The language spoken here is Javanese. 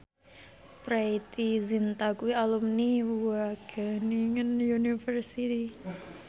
Preity Zinta kuwi alumni Wageningen University